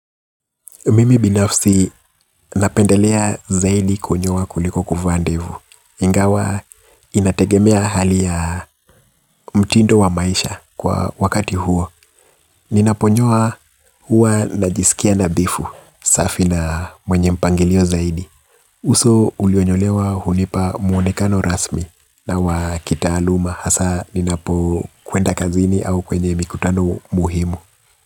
Mimi binafsi napendelea zaidi kunyoa kuliko kuvaa ndevu. Ingawa inategemea hali ya mtindo wa maisha kwa wakati huo. Ninaponyoa hua najisikia nadhifu safi na mwenye mpangilio zaidi. Uso ulionyolewa hunipa muonekano rasmi na wa kitaaluma hasaa ninapokwenda kazini au kwenye mikutano muhimu.